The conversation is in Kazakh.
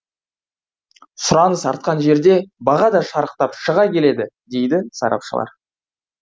сұраныс артқан жерде баға да шарықтап шыға келеді дейді сарапшылар